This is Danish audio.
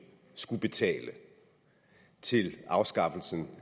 skulle betale til afskaffelsen